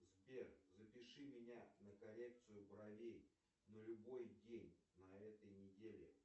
сбер запиши меня на коррекцию бровей на любой день на этой неделе